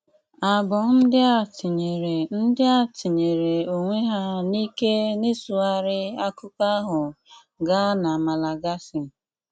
Abụọ ndị a tinỳèrè ndị a tinỳèrè onwe ha n’ìkè n’ịsụghárí akụkọ ahụ gaa na Malagasy.